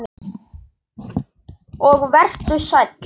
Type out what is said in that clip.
Og vertu sæll.